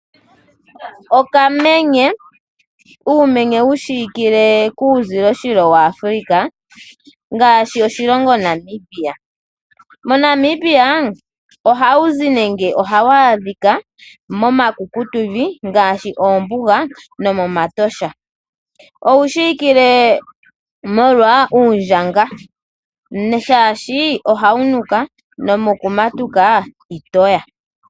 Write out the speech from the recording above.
Okamenye , uumenye wushikile kuuzilo shilo waAfrica ngaashi oshilongo Namibia. MoNamibia ohawu zi nenge ohawu adhika momakukutu vi ngaashi oombuga nomomatosha. Owu shiwikile molwa uundjanga shaashi ohawu nuka nomoku matuka itoya.